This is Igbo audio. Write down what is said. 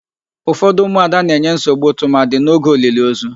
Ufọdụ ụmụada na-enye nsogbu tụmadị n'oge oliliozu.